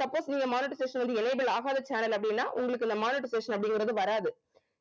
suppose நீங்க monetization வந்து enable ஆகாத channel அப்படின்னா உங்களுக்கு இந்த monetization அப்படிங்கறது வராது